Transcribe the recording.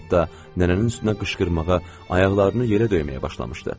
Hətta nənənin üstünə qışqırmağa, ayaqlarını yerə döyməyə başlamışdı.